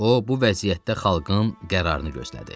O, bu vəziyyətdə xalqın qərarını gözlədi.